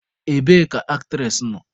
Ebee ka aktres nọ?